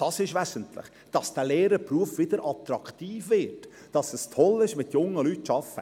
Es ist wesentlich, dass der Lehrerberuf wieder attraktiv wird, weil es toll ist, mit jungen Leuten zu arbeiten.